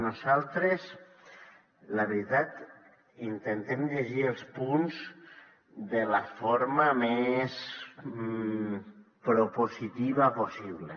nosaltres la veritat intentem llegir els punts de la forma més propositiva possible